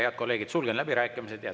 Head kolleegid, sulgen läbirääkimised.